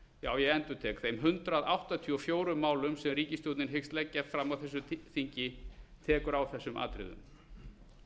já ég endurtek hundrað áttatíu og fjögur málum sem ríkisstjórnin hyggst leggja fram á þessu þingi tekur á þessum atriðum